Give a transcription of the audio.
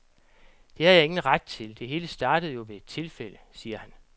Det har jeg ingen ret til, det hele startede jo ved et tilfælde, siger han.